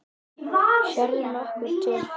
Sérðu nokkuð til?